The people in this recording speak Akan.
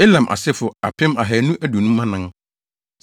Elam asefo tcr2 1 254 tc1